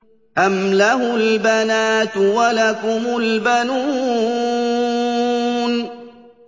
أَمْ لَهُ الْبَنَاتُ وَلَكُمُ الْبَنُونَ